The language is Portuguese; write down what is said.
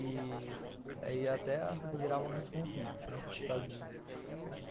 E aí até gerava alguns conflitos, né, por causa disso.